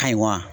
Ka ɲi wa